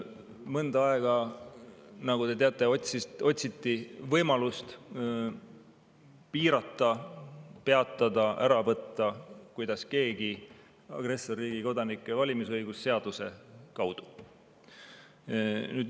Mõnda aega, nagu te teate, otsiti võimalust piirata, peatada või ära võtta – kuidas keegi soovis – agressorriigi kodanike valimisõigust seaduse kaudu.